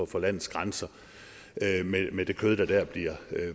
for landets grænser med det kød der bliver